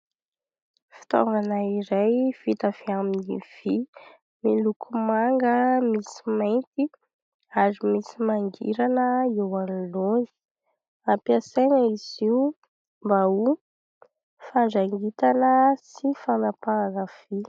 Fitaovana iray vita avy amin'ny vy miloko manga, misy mainty ary misy mangirana eo anoloana. Ampiasaina izy io mba ho fandrangitana sy fanapahana vy.